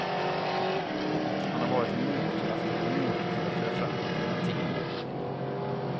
Han har varit en motkraft och en motor till att föra fram alternativa värderingar.